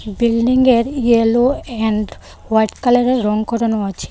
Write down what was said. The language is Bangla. বিল্ডিং -এর ইয়োলো এন্ড হোয়াইট কালার -এর রঙ করানো আছে।